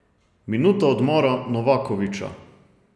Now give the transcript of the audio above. Minuta odmora Novakovića.